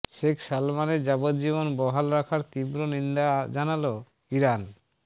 শেখ সালমানের যাবজ্জীবন বহাল রাখার তীব্র নিন্দা জানাল ইরান